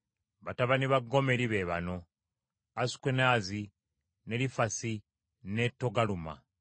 Batabani ba Gomeri be bano: Asukenaazi, ne Lifasi, ne Togaluma.